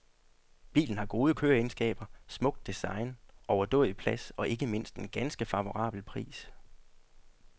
Bilen har gode køreegenskaber, smukt design, overdådig plads og ikke mindst en ganske favorabel pris.